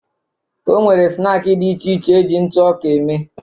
O nwere snaakị dị iche iche eji ntụ ọka eme